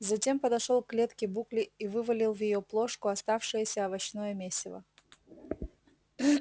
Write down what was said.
затем подошёл к клетке букли и вывалил в её плошку оставшееся овощное месиво